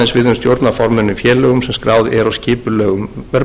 í félögum sem skráð eru á skipulegum verðbréfamarkaði það